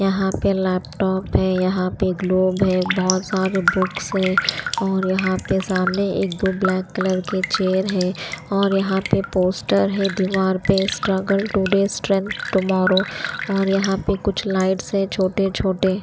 यहाँ पे लैपटॉप है यहाँ पे ग्लोब है बहुत सारे बुक्स है और यहाँ पे सामने एक दो ब्लैक कलर के चेयर है और यहाँ पे पोस्टर है दीवार पे स्ट्रगल टुडे स्ट्रेंथ टुमारो और यहाँ पे कुछ लाइट्स है छोटे-छोटे--